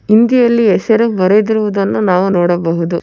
ಹಿಂದಿಯಲ್ಲಿ ಹೆಸರು ಬರೆದಿರುವುದನ್ನು ನಾವು ನೋಡಬಹುದು.